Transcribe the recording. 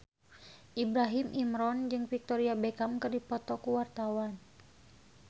Ibrahim Imran jeung Victoria Beckham keur dipoto ku wartawan